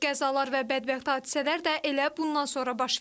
Qəzalar və bədbəxt hadisələr də elə bundan sonra baş verir.